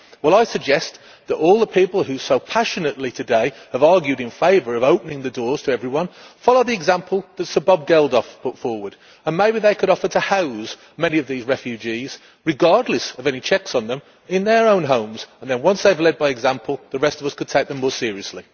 I suggest that all the people who so passionately here today have argued in favour of opening the doors to everyone follow the example that Sir Bob Geldof has put forward maybe they could offer to house many of these refugees, regardless of any checks on them, in their own homes, and then once they have led by example the rest of us could take them more seriously.